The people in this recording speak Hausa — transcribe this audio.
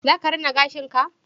Za ka rina gashin ka?